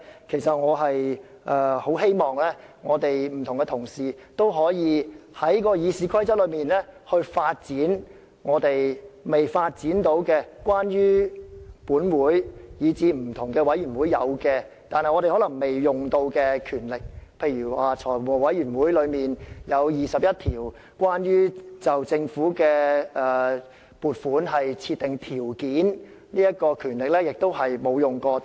其實我十分希望不同同事均可開發《議事規則》賦予我們在本會以至不同委員會既有而尚未使用的權力，例如財務委員會有21項關乎就政府撥款設定條件的權力是從未使用的。